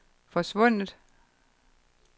forsvundet